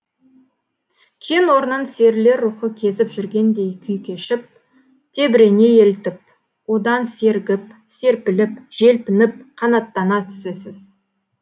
кен орнын серілер рухы кезіп жүргендей күй кешіп тебірене елтіп одан сергіп серпіліп желпініп қанаттана түсесіз